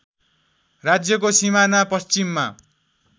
राज्यको सिमाना पश्चिममा